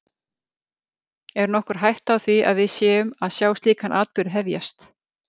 Er nokkur hætta á því að við séum að sjá slíkan atburð hefjast?